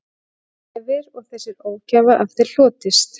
Hefir og þessi ógæfa af þér hlotist